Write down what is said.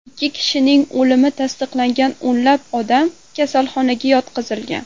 Ikki kishining o‘limi tasdiqlangan, o‘nlab odam kasalxonaga yotqizilgan.